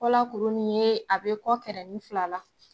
Kɔ la kuru nin ye a bɛ kɔ kɛrɛnin fila la